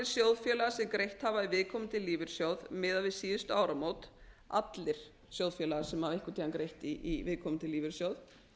sjóðfélagar sem greitt hafa í viðkomandi lífeyrissjóð miðað við síðustu áramót allir sjóðfélagar sem hafa einhvern tíma greitt í viðkomandi lífeyrissjóð